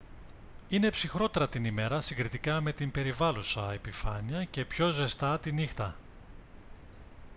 είναι ψυχρότερα την ημέρα συγκριτικά με την περιβάλλουσα επιφάνεια και πιο ζεστά τη νύχτα